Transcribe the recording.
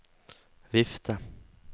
vifte